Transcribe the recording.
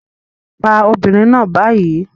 Pa obìnrin náà báyìí